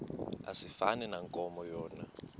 asifani nankomo yona